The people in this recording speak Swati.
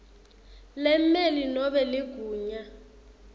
lemmeli nobe ligunya